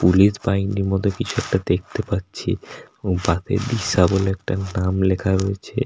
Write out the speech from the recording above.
Police বাহিনীর মতো কিছু একটা দেখতে পাচ্ছি এবং তাতে দিশা বলে একটা নাম লেখা রয়েছে।